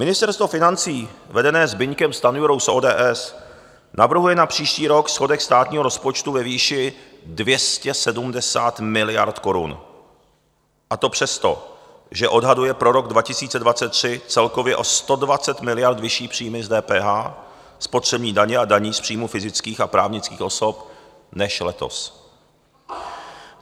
Ministerstvo financí vedené Zbyňkem Stanjurou z ODS navrhuje na příští rok schodek státního rozpočtu ve výši 270 miliard korun, a to přesto, že odhaduje pro rok 2023 celkově o 120 miliard vyšší příjmy z DPH, spotřební daně a daní z příjmů fyzických a právnických osob než letos.